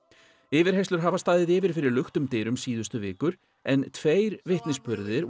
yfirheyrslur hafa staðið yfir fyrir luktum dyrum síðustu vikur en tveir vitnisburðir